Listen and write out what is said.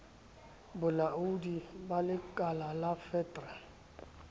bolaoding ba lekalala fet re